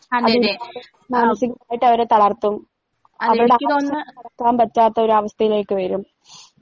അത് മാനസികമായിട്ടവരെ തളർത്തും അവർടെ അവസ്ഥ നടക്കാൻ പറ്റാത്തൊരവസ്ഥയിലേക്ക് വരും.